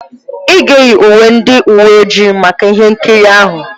Ị ga-eyi uwe ndị uwe ojii maka ihe nkiri ahụ.